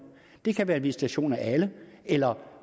det kan være en visitation af alle eller